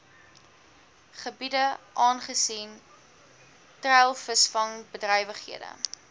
gebiede aangesien treilvisvangbedrywighede